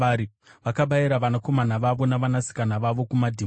Vakabayira vanakomana vavo navanasikana vavo kumadhimoni.